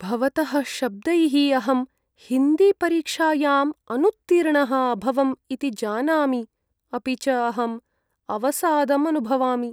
भवतः शब्दैः अहं हिन्दीपरीक्षायाम् अनुत्तीर्णः अभवम् इति जानामि अपि च अहम् अवसादम् अनुभवामि।